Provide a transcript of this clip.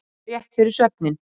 Rétt fyrir svefninn.